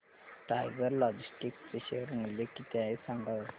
tiger logistics चे share मूल्य किती आहे सांगा बरं